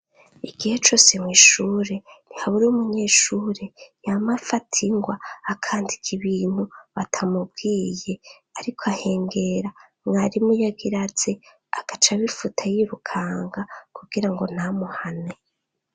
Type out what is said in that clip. Igihe cose, mw'ishure ntihabura umunyeshure, yama afata ingwa akandika ibintu batamubwiye, ariko ahengera mwarimu iyo agira aze agaca abifuta yirukanga, kugira ngo ntamuhane.